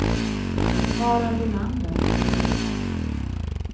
Harald Olander